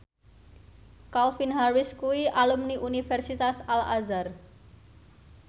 Calvin Harris kuwi alumni Universitas Al Azhar